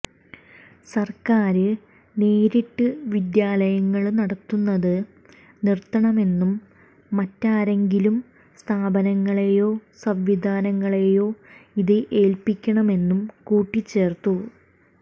സര്ക്കാര് നേരിട്ട് വിദ്യാലയങ്ങള് നടത്തുന്നത് നിര്ത്തണമെന്നും മറ്റാരെങ്കിലും സ്ഥാപനങ്ങളെയോ സംവിധാനങ്ങളെയോ ഇത് ഏല്പ്പിക്കണമെന്നും കൂട്ടിച്ചേര്ത്തു